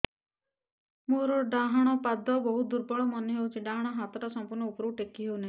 ମୋର ଡାହାଣ ପାଖ ବହୁତ ଦୁର୍ବଳ ମନେ ହେଉଛି ଡାହାଣ ହାତଟା ସମ୍ପୂର୍ଣ ଉପରକୁ ଟେକି ହେଉନାହିଁ